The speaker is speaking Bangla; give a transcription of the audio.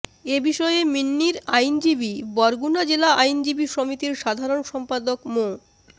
এ বিষয়ে মিন্নির আইনজীবী বরগুনা জেলা আইনজীবী সমিতির সাধারণ সম্পাদক মো